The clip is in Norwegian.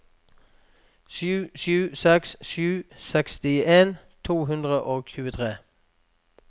sju sju seks sju sekstien to hundre og tjuetre